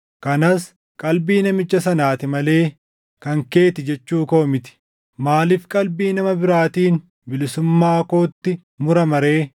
Kanas qalbii namicha sanaati malee kan keeti jechuu koo miti. Maaliif qalbii nama biraatiin bilisummaa kootti murama ree?